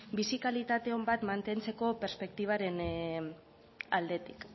bizi kalitate on bat mantentzeko perspektibaren aldetik